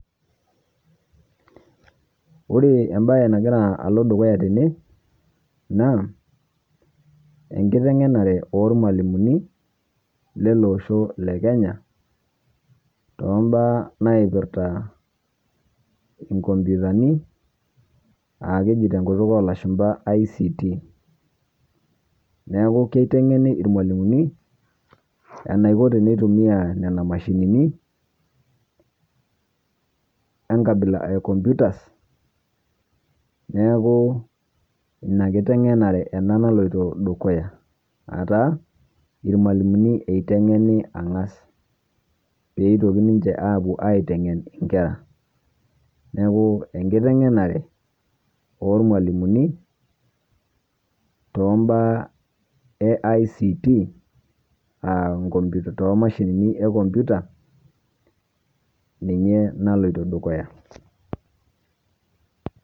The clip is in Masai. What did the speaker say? Ore ebaye nagira aloo dukuya tene naa ekiteng'enare e mwalimuni e losho le Kenya to mbaa naipirita nkompyutani aa kejii te nkutuuk e lashumba ICT. Neeku keiteng'eni mwalimuni anaikoo tenetumia nena emashinini onkabila e computers . Neeku enia nkiteng'enare ena nalotoo edukuya aata mwalimuni eteng'ena ang'aas pee etokinii ninchee apoo aiteng'ene nkera. Neeku ekiteng'enare e mwalimuni to mbaa e ICT aa nkopmyutani to mashinini e kompyuta ninyee naloitoo dukuya.